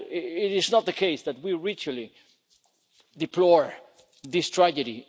It is not the case that we ritually deplore this tragedy.